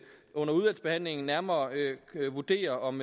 under udvalgsbehandlingen nærmere vurdere om